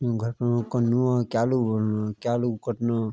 यु घर फनु कनु और क्यालू बनू क्यालू कटनु।